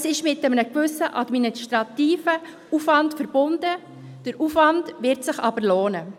Es ist mit einem gewissen administrativen Aufwand verbunden, der Aufwand wird sich aber lohnen.